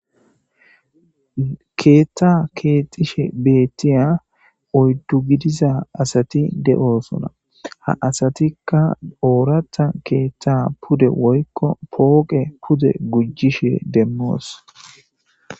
Keetha keexishe beetiya oydu gidiza asati de'osona ha asatika ooratha keetha pude woyko pooqe pude gujishe demos.